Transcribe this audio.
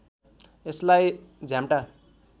यसलाई झ्याम्टा